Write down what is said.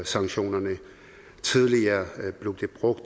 sanktionerne tidligere blev der brugt